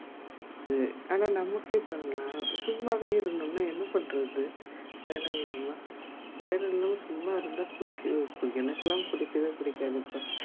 ஆனா நமக்கே பாருகலாம் சும்மாவே இருதோம்ன்னா என்ன பண்ணுறது வேலைல்லாம வேல இல்லாம சும்மா இருந்த போச்சி ஓ என்னகுலாம் புடிக்கவே புடிக்காது